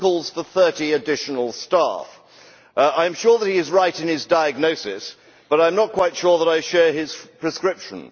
he calls for 30 additional staff. I am sure that he is right in his diagnosis, but I am not quite sure that I share his prescription.